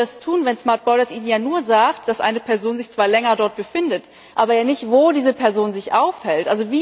Aber wie wollen Sie das tun, wenn Ihnen ja nur sagt, dass eine Person sich zwar länger dort befindet, aber nicht, wo diese Person sich aufhält?